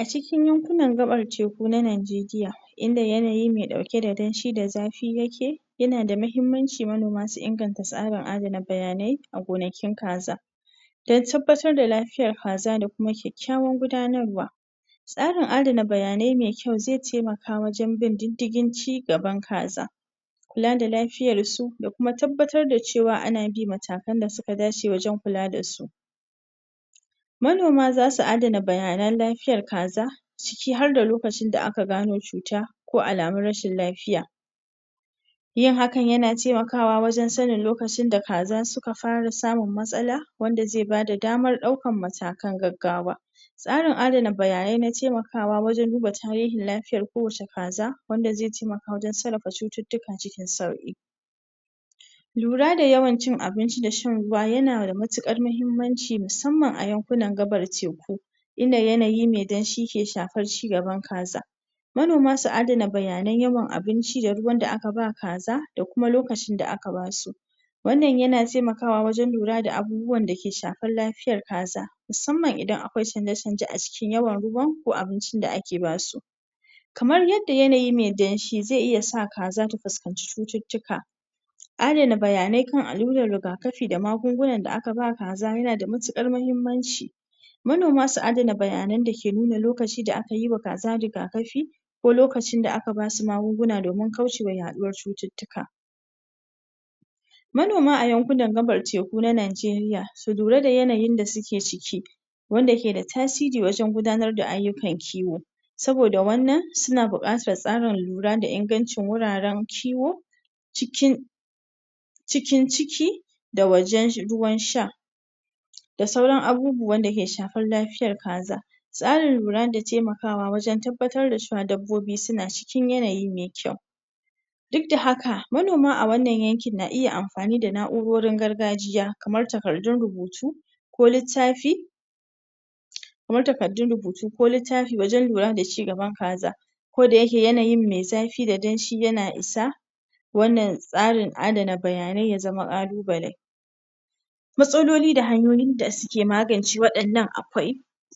A cikin yankunan gaɓar teku na Nigeria inda yanayi me ɗauke da danshi a zafi yake yana da mahimmanci manoma su inganta tsarin adana bayanai a gonakin kaza dan tabbatar da lafiyar kaza da kuma kyakkyawan gudanarwa tsarin adana bayanai me kyau ze taimaka wajen bin diddigin cigaba kaza kula da lafiyar su da kuma tabbatar da cewa ana bi matakan da suka dace wajen kula da su manoma zasu adana bayanan lafiyar kaza ciki har da lokacin da aka gano cuta ko alamun rashin lafiya yin hakan yana taimakawa wajen sanin lokacin da kaza suka fara samun matsala wanda ze bada damar ɗaukan matakan gaggawa tsarin adana bayanai na taimakawa wajen duba tarihin lafiyan kowacce kaza wanda ze taimaka wajen sarrafa cututtuka cikin sauƙi lura da yawan cin abinci da shan ruwa yana da matuƙar mahimmanci musamman a yankunan gaɓar teku inda yanayi me danshi ke shafar cigaban kaza manoma su adana bayanai yawan abinci da ruwan da aka ba kaza da kuma lokacin da aka basu wannan yana taimakawa wajen lura da abubuwan da ke shafar lafiyar kaza musamman idan akwai canje-canje a cikin yawan ruwan ko abincin da ake basu kamar yadda yanayi me danshi zai iya sa kaza ta fuskanci cututtuka adana bayanai kan allurar rigakafi da magungunan da aka ba kaza yana da matuƙar mahimmanci manoma su adana bayanan da ke nuna lokaci da aka yi wa kaza rigakafi ko lokacin da aka basu magaunguna domin kaucewa yaɗuwar cututtuka manoma a yankunan gaɓar teku na Nigeria su lura da yanayin da suke ciki wanda ke da tasiri wajen gudanar da ayyukan kiwo saboda wannan suna buƙatar tsarin lura da ingancin wuraren kiwo cikin cikin ciki da wajen ruwan sha da sauran abubuwan da ke shafar lafiyar kaza tsarin lura da temakawa wajen tabbatar da cewa dabbobi suna cikin yanayi me kyau duk da haka manoma a wannan yankin na iya amafani da na'urorin gargajiya kamar takardun rubutu ko littafi kamar takaddun rubutu ko littafi wajen lura da cigaban kaza koda yake yanayin me zafi da danshi yana isa wannan tsarin adana bayanai ya zama ƙalubale matsaloli da hanyoyin da suke magance waɗannan akwai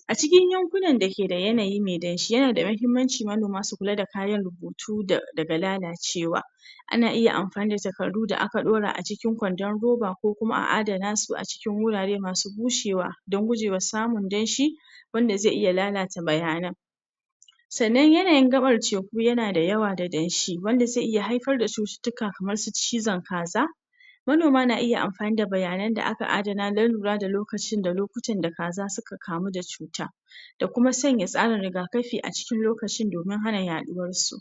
a cikin yankunan da ke da yanayi me danshi yana da mahimmanci manoma su kula da kayan rubutu daga lalacewa ana iya amfani da takardu da aka ɗora a cikin kwandon roba ko kuma a dana su a cikin wurare masu bushewa dan gujewa samun danshi wanda ze iya lalata bayanan sannan yanayin gaɓar teku yana da yawa da danshi wanda ze iya haifar da cututtuka kamar cizon kaza manoma na iya amfani da bayanan da aka adana dan lura da lokacin da lokutan da kaza suka kamu da cuta da kuma sanya tsarin rigakafi a cikin lokaci domin hana yaɗuwar su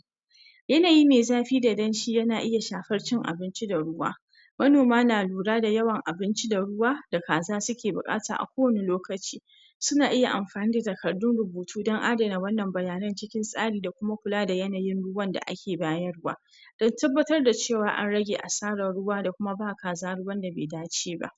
yanayi me zafi da danshi yana iya shafar cin abinci da ruwa manoma na lura da yawan abinci da ruwa da kaza suke buƙata a kowani lokaci suna iya amfani da takardun rubutu don adana wannan bayanai cikin tsari da kuma kula da yanayin ruwan da ake bayarwa dan tabbatar da cewa an rage asaran ruwa da kuma ba kaza ruwan da be dace ba.